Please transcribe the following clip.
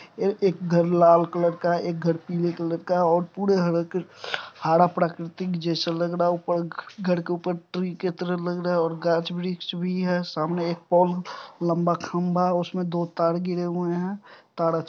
ये एक घर लाल कलर का है एक घर पीले कलर का है और पूरे हरे हरा प्राकृतिक जैसा लग रहा ऊपर घर के ऊपर ट्री के तरह लग रहा है और गाछ वृक्ष भी है सामने एक पोल लंबा खंबा उसमें दो तार गिरे हुए हैं तार अच्छे--